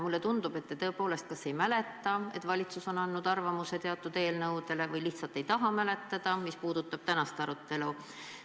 Mulle tundub, et te tõepoolest kas ei mäleta, et valitsus on andnud arvamuse teatud eelnõude kohta, või lihtsalt ei taha mäletada, mis puudutab tänast arutelu.